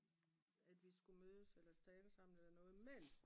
at vi skulle mødes eller tale sammen eller noget men